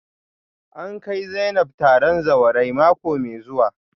A kai Zainab taron zawarai mako mai zuwa